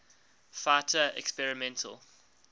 fighter experimental